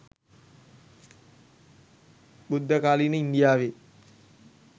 බුද්ධකාලීන ඉන්දියාවේ